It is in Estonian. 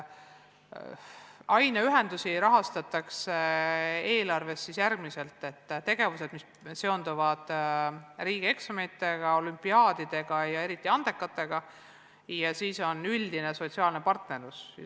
Aineühendusi rahastatakse eelarves siis järgmiselt: tegevused, mis seonduvad riigieksamitega, olümpiaadidega ja eriti andekatega ning peale selle on üldine sotsiaalne partnerlus.